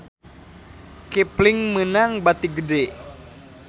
Kipling meunang bati gede